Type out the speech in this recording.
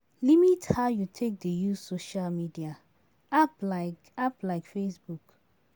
Limit how you take dey use social media app like app like facebook